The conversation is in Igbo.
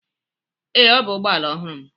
Ee, ọ bụ ụgbọ ala ọhụrụ m.